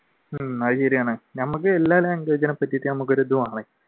ഉം അത് ശരിയാണ് നമുക്ക് എല്ലാ പറ്റിയിട്ട് ഒരു ഇത് വേണം